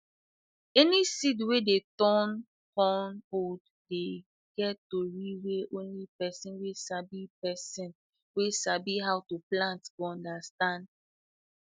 any seed wey dun tay cun old dey get tory wey only person wey sabi person wey sabi how to plant go understand